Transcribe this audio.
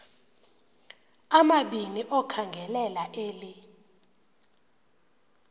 amabini okhangelela eli